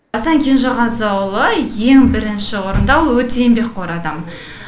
асан кенжеғазыұлы ең бірінші орында ол өте еңбекқор адам